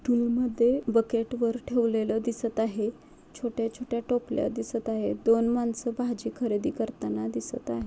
मध्ये बकेट वर ठेवलेल दिसत आहे. छोट्या छोट्या टोपल्या दिसत आहे. दोन माणसं भाजी खरेदी करताना दिसत आहे.